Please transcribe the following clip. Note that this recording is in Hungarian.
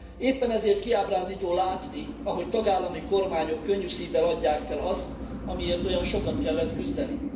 Éppen ezért kiábrándító látni, ahogy tagállami kormányok könnyű szívvel adják fel azt, amiért olyan sokat kellett küzdeni.